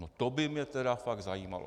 No to by mě tedy fakt zajímalo.